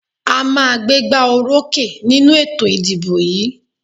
A màá gbégbá orókè nínú ètò ìdìbò yìí.